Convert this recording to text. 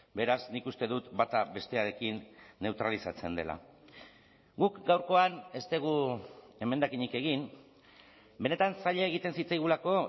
beraz nik uste dut bata bestearekin neutralizatzen dela guk gaurkoan ez dugu emendakinik egin benetan zaila egiten zitzaigulako